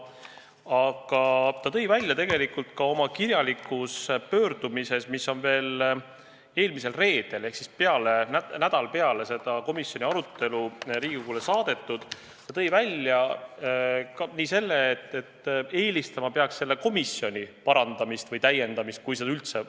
Aga ta tõi oma kirjalikus pöördumises Riigikogu poole, mis on eelmisel reedel ehk siis nädal peale seda komisjoni arutelu saadetud, kui üldse midagi teha, siis eelistama peaks selle komisjoni n-ö parandamist või täiendamist.